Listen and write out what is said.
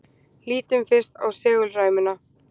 Lítum fyrst á segulræmuna.